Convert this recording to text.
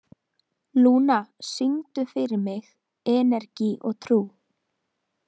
Lúna, syngdu fyrir mig „Energi og trú“.